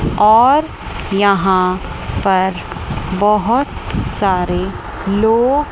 और यहां पर बहोत सारे लोग--